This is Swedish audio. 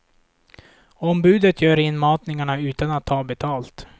Ombudet gör inmatningarna utan att ta betalt.